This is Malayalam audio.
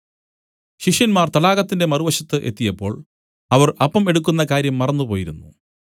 ശിഷ്യന്മാർ തടാകത്തിന്റെ മറുവശത്ത് എത്തിയപ്പോൾ അവർ അപ്പം എടുക്കുന്ന കാര്യം മറന്നുപോയിരുന്നു